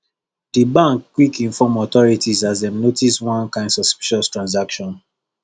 the bank quick inform authorities as dem notice one kind suspicious transaction